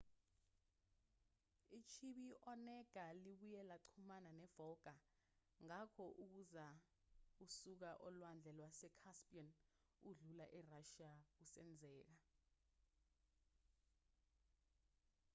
ichibi i-onega libuye laxhumana ne-volga ngakho ukuza usuka olwandle lwase-caspian udlula erashiya kusenzeka